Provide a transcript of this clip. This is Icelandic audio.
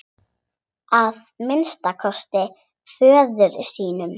Að minnsta kosti föður sínum.